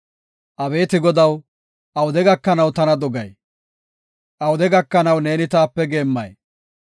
Abeeti Godaw awude gakanaw tana dogay? Awude gakanaw neeni taape geemmay?